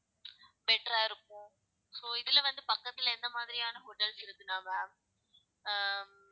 better ஆ இருக்கும் so இதுல வந்து பக்கத்துல எந்த மாதிரியான hotels இருக்குனா ma'am ஆஹ்